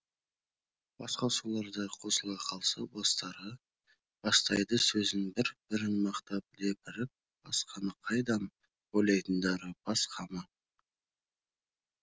басқосуларда қосыла қалса бастары бастайды сөзін бір бірін мақтап лепіріп басқаны қайдам ойлайтындары бас қамы